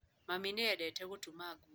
Mami nĩ endete gũtuma nguo.